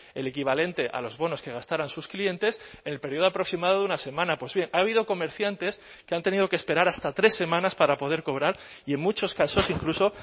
el equivalente a los bonos que gastaran sus clientes el período aproximado de una semana pues bien ha habido comerciantes que han tenido que esperar hasta tres semanas para poder cobrar y en muchos casos incluso